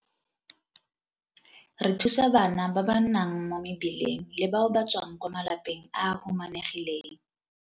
Re thusa bana ba ba nnang mo mebileng le bao ba tswang kwa malapeng a a humanegileng.